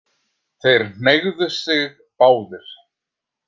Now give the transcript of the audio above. Þeir hneigðu sig báðir.